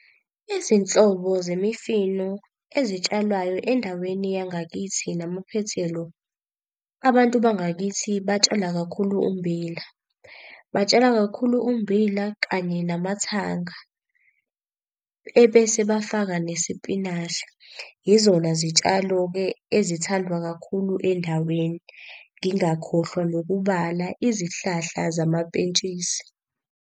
Izinhlobo zemifino ezitshalwayo endaweni yangakithi namaphethelo. Abantu bangakithi batshala kakhulu ummbila. Batshala kakhulu ummbila kanye namathanga, ebese bafaka nesipinashi. Yizona zitshalo-ke ezithandwa kakhulu endaweni, ngingakhohlwa nokubala izihlahla zamapentshisi.